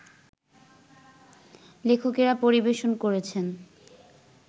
লেখকেরা পরিবেশন করেছেন